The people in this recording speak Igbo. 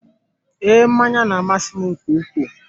Ee, mmanya na-amasị m nke ukwuu.